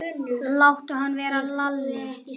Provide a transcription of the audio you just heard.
Láttu hann vera, Lalli!